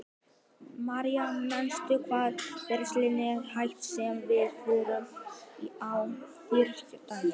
Marja, manstu hvað verslunin hét sem við fórum í á þriðjudaginn?